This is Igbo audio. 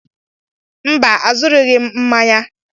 Mba, azụrụghị m mmanya.